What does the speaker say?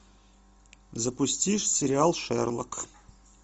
запусти сериал шерлок